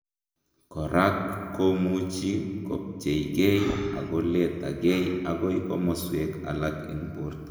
korak komuchi kobcheigei akoletagei agoi komoswek alak en borto